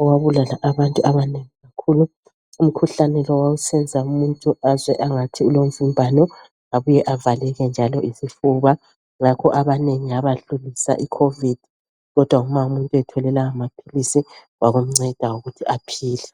owabulala abantu abanengi kakhulu. Umkhuhlane lo wawusenza umuntu azwe angathi ulomvimbano abuye avaleke njalo isifuba. Ngakho abanengi yabadlulisa ikhovidi kodwa uma umuntu ethole lamaphilisi kwakumnceda ukuthi aphile.